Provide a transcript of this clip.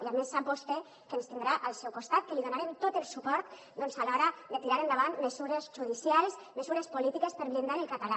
i a més sap vostè que ens tindrà al seu costat que li donarem tot el suport a l’hora de tirar endavant mesures judicials mesures polítiques per blindar el català